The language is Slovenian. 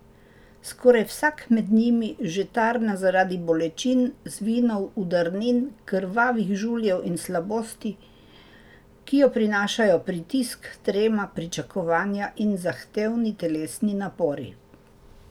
Skoraj vsak med njimi že tarna zaradi bolečin, zvinov, udarnin, krvavih žuljev in slabosti, ki jo prinašajo pritisk, trema, pričakovanja in zahtevni telesni napori.